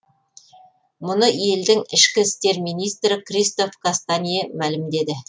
мұны елдің ішкі істер министрі кристоф кастанье мәлімдеді